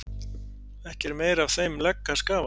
Ekki er meira af þeim legg að skafa